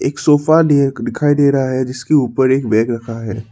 एक सोफा दिखाई दे रहा है जिसके ऊपर एक बैग रखा है।